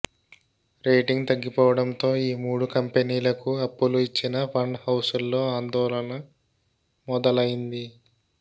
rating తగ్గిపోవడంతో ఈ మూడు కంపెనీలకు అప్పులు ఇచ్చిన ఫండ్ హౌసుల్లో ఆందోళన మొదలైంది